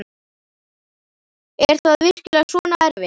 Er það virkilega svona erfitt?